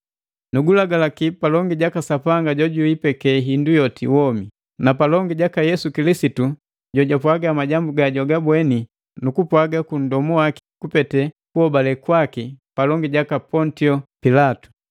Nugulagaki palongi jaka Sapanga jojuipeke hindu yoti womi, na palongi jaka Yesu Kilisitu jojapwaga majambu gajwagabweni nukupwaga ku ndomu waki kupete kuhobale kwaki palongi jaka Pontio Pilato,